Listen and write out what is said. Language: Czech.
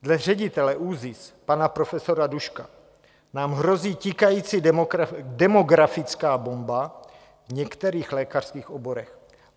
Dle ředitele ÚZIS pana profesora Duška nám hrozí tikající demografická bomba v některých lékařských oborech.